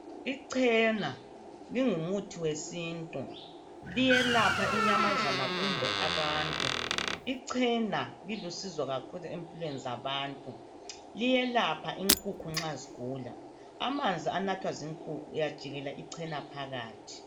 Icena lingumuthi wesintu. Liyelapha inyamazana kumbe abantu. Icena lilusizo kakhulu emphilweni zabantu, liyelapha inkukhu nxa zigula. Amanzi enathwa zinkukhu uyajikela icena phakathi.